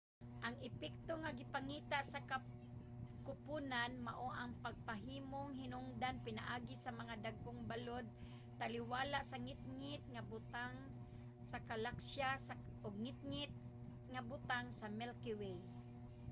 ang epekto nga gipangita sa kuponan mao ang mamahimong hinungdan pinaagi sa mga dagkong balod taliwala sa ngitngit nga butang sa galaksiya ug ngitngit nga butang sa milky way